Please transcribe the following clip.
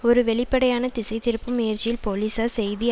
ஒரு வெளிப்படையான திசை திருப்பும் முயற்சியில் போலிசார் செய்தி